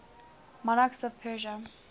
monarchs of persia